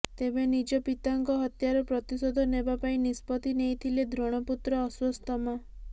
ତେବେ ନିଜ ପତାଙ୍କ ହତ୍ୟାର ପ୍ରତିଶୋଧ ନେବା ପାଇଁ ନିଷ୍ପତ୍ତି ନେଇଥିଲେ ଦ୍ରୋଣପୁତ୍ର ଅଶ୍ୱସ୍ତମା